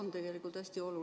Mida see sisaldab?